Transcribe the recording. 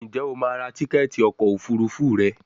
njé o ma rà Tíkẹ́ẹ̀tì ọkọ̀ òfurufú rẹ?